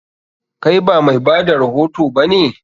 Kai ba mai bada rahoto ba ne?